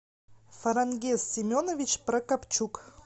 фарангиз семенович прокапчук